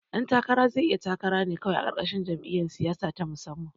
Ɗan takara zai iya takara ne kawai a ƙarƙashin jam'iyar siyasa na musamman